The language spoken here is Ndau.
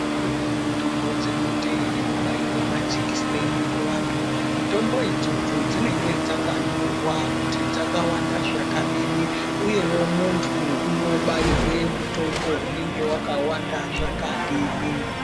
Dzimweni dzinote ekubairwa majekiseni kuvantu mitombo idzodzo dzinenga dzakanyorwa kuti dzakawanda zvakadini, uyevo muntu unobairwe mutombo unenge vakawanda zvakadini.